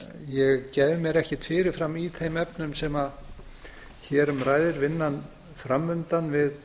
ég gef mér ekkert fyrir fram í þeim efnum sem hér um ræðir vinnan fram undan við